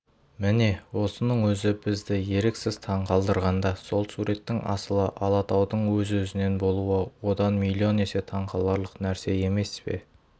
міне осының өзі бізді еріксіз таңқалдырғанда сол суреттің асылы алатаудың өзі-өзінен болуы одан миллион есе таңқаларлық нәрсе емес пе